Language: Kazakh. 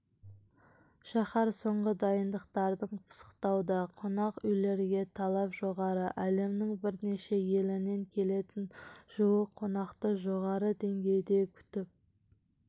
шаһар соңғы дайындықтарын пысықтауда қонақүйлерге талап жоғары әлемнің бірнеше елінен келетін жуық қонақты жоғары деңгейде күтіп